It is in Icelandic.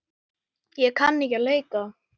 Ég kann ekki að leika.